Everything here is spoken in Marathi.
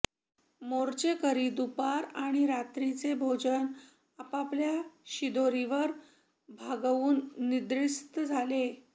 मोर्चेकरी दुपार आणि रात्रीचे भोजन आपापल्या शिदोरीवर भागवून निद्रिस्त झाले